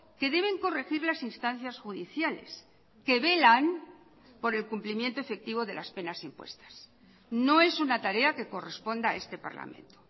que deben corregir las instancias judiciales que velan por el cumplimiento efectivo de las penas impuestas no es una tarea que corresponda a este parlamento